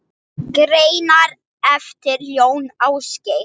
Greinar eftir Jón Ásgeir